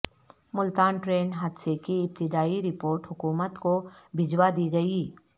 Multan train حادثے کی ابتدائی رپورٹ حکومت کو بھجوا دی گئی